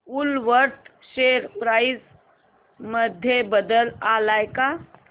Woolworth share price मध्ये बदल आलाय का